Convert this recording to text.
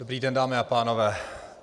Dobrý den, dámy a pánové.